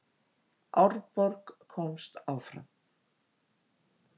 Árborg komst áfram